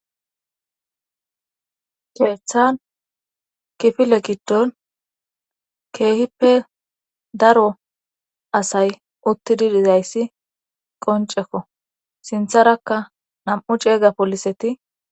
keeththan kifile giddon keehippe daro asay uttidi dizayssi qoncekko sintharakka nam7u ceeyga poliseti